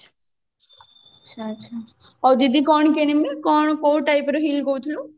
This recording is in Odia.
ଆଚ୍ଛା ଆଚ୍ଛା ହଉ ଦିଦି କଣ କିଣିବେ କଣ କୋଉ typeର heel କହୁଥିଲେ